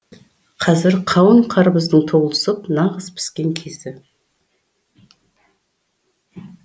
қазір қауын қарбыздың толысып нағыз піскен кезі